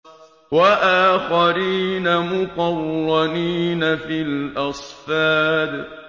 وَآخَرِينَ مُقَرَّنِينَ فِي الْأَصْفَادِ